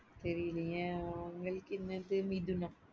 தெரிலையே அவங்களுக்கு என்னது மிதுனம்.